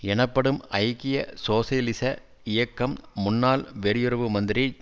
எனப்படும் ஐக்கிய சோசியலிச இயக்கம் முன்னாள் வெளியுறவு மந்திரி